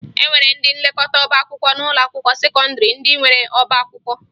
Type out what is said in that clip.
E nwere ndị nlekọta ọbaakwụkwọ n'ụlọakwụkwọ sekọndịrị ndị nwere ọbaakwụkwọ